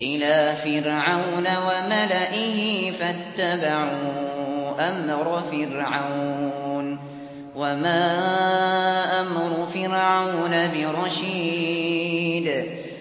إِلَىٰ فِرْعَوْنَ وَمَلَئِهِ فَاتَّبَعُوا أَمْرَ فِرْعَوْنَ ۖ وَمَا أَمْرُ فِرْعَوْنَ بِرَشِيدٍ